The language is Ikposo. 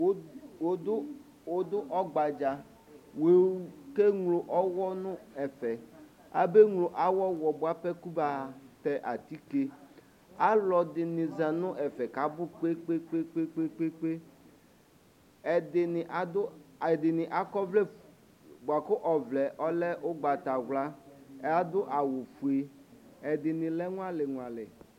Wʋdʋ ɔgbadza wʋke ŋlo ɔwɔ nʋ ɛfɛ abeŋlo awʋ ɔwɔ bʋapɛ kʋ batɛ atike alʋɛdini zanʋ ɛfɛ kʋ abʋ kpe kpe kpe kpe ɛdini akɔ ɔvlɛ bʋakʋ ɔlɛ ɔvlɛ ʋgbatawla adʋ awʋfue ɛdini lɛ ŋuali ŋuali